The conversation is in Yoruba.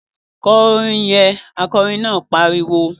Kọ orin yẹn! Akọrin náà pariwo